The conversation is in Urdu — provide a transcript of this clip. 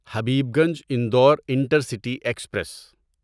Habibganj Indore intercity express